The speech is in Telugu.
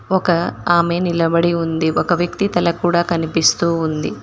ఒక ఆమె నిలబడి ఉంది ఒక వ్యక్తి తల కూడా కనిపిస్తూ ఉంది.